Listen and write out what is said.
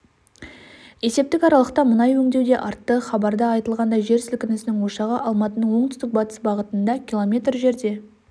есептік аралықта мұнай өңдеу де артты хабарда айтылғандай жел сілкінісінің ошағы алматының оңтүстік-батыс бағытында км жерде